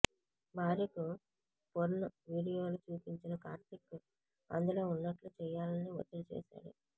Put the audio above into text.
భార్యకు పొర్న్ వీడియోలు చూపించిన కార్తీక్ అందులో ఉన్నట్లు చెయ్యాలని ఒత్తిడి చేశాడు